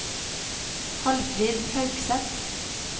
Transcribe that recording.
Hallfrid Haugseth